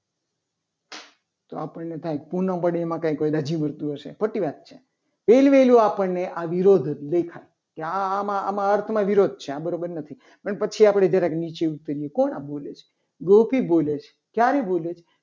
તો આપણને એમ થાય. કે પુના મળે. એમાં કોઈ દાઝી મળતું. હશે ખોટી વાત છે. પહેલ વહેલું આપણને આ વિરોધ જ દેખાય. કે આમાં આમાં અર્થમાં પણ વિરોધ છે. આ બરાબર નથી. પણ પછી આપણે જરાક નીચે ઉતરીએ કોણ આ બોલે છે. ગોપી બોલે છે. ક્યારે બોલે છે.